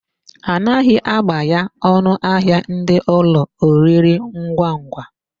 A naghị agbaya ọnụahịa ndị ụlọ oriringwangwa.